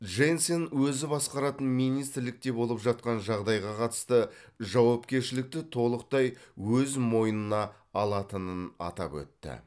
дженсен өзі басқаратын министрлікте болып жатқан жағдайға қатысты жауапкершілікті толықтай өз мойнына алатынын атап өтті